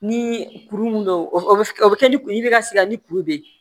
Ni kuru mun don o bɛ kɛ ni kuru bɛ ka sigi ani kuru be yen